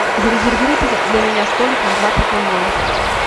зарезервируйте для меня столик на двадцать ноль ноль